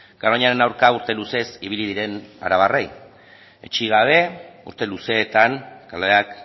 garoñaren aurka urte luzez ibili diren arabarrei etsi gabe urte luzeetan kaleak